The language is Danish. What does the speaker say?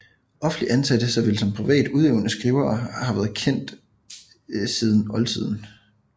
Offentlig ansatte såvel som privat udøvende skrivere har været kendt siden oldtiden